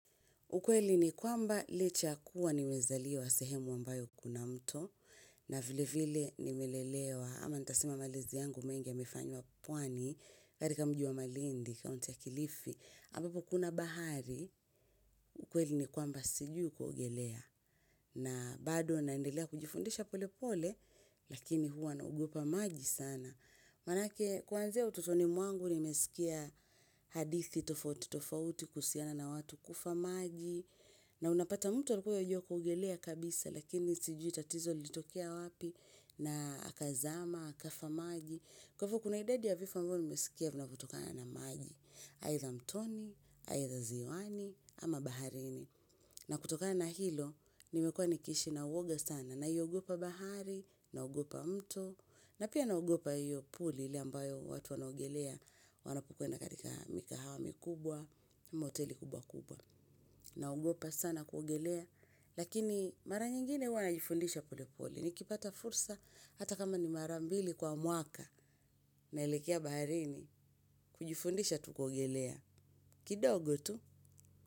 Ukweli ni kwamba licha ya kuwa nimezaliwa sehemu ambayo kuna mto na vile vile nimelelewa ama nitasema malezi yangu mengi yamefanywa pwani katika mji wa Malindi kaunti ya Kilifi, ambapo kuna bahari, ukweli ni kwamba sijui kuogelea. Na bado naendelea kujifundisha pole pole, lakini huwa naogopa maji sana. Maanake kuanzia utotoni mwangu nimesikia hadithi tofauti tofauti kuhusiana na watu kufa maji. Na unapata mtu alikuwa yuajua kuogelea kabisa, lakini sijui tatizo lilitokea wapi na akazama, akafa maji. Kwa hivyo kuna idadi ya vifo ambavyo nimesikia vinavyotokana na maji. Aidha mtoni, aidha ziwani, ama baharini. Na kutokana na hilo, nimekuwa nikiishi na woga sana. Naiogopa bahari, naogopa mto, na pia naogopa hiyo puli ile ambayo watu wanaogelea wanapokwenda katika mikahawa mikubwa, ama hoteli kubwa kubwa. Naogopa sana kuogelea, lakini mara nyingine huwa najifundisha polepole. Nikipata fursa hata kama ni mara mbili kwa mwaka, naelekea baharini kujifundisha tu kuogelea. Kidogo tu.